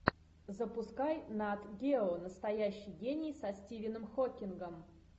запускай нат гео настоящий гений со стивеном хокингом